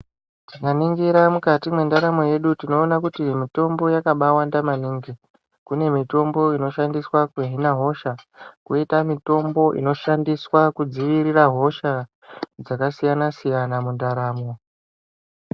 Tikaningira kuti mukati mwendaramo yedu, tinoona kuti mitombo yakabawanda maningi. Kune mitombo inoshandiswa kuhina hosha, kwoita mitombo inoshandiswa kudziirira hosha, dzakasiyana-siyana mundaramo.